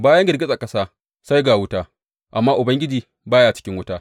Bayan girgizar ƙasa, sai ga wuta, amma Ubangiji ba ya cikin wuta.